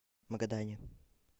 магадане